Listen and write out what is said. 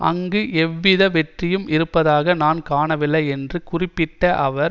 அங்கு எவ்வித வெற்றியும் இருப்பதாக நான் காணவில்லை என்று குறிப்பிட்ட அவர்